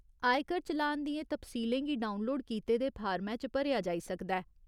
आयकर चलान दियें तफसीलें गी डाक्टरउनलोड कीते दे फार्मै च भरेआ जाई सकदा ऐ।